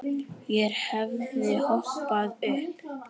Ég hefði hoppað upp.